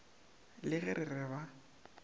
le ge re re ba